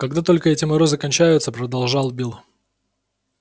когда только эти морозы кончаются продолжал билл